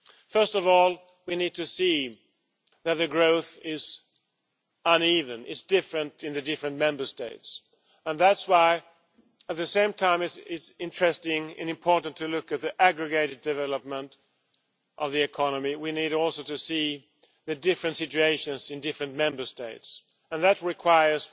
First of all, we need to recognise that the growth is uneven, it is different in the different Member States, which is why, at the same time, it is interesting and important to look at the aggregated development of the economy. We need, too, to recognise the different situations in different Member States and that requires